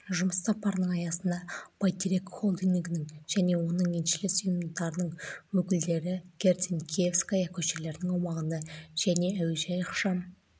жұмыс сапарының аясында бәйтерек холдингінің және оның еншілес ұйымдарының өкілдері герцен-киевская көшелерінің аумағында және әуежай ықшам